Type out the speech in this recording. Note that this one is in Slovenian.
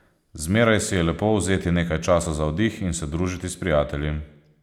Zmeraj si je lepo vzeti nekaj časa za oddih in se družiti s prijatelji.